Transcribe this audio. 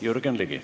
Jürgen Ligi.